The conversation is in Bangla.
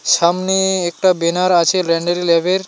সামনে একটা বেনার আছে ল্যান্ডারি ল্যাবের .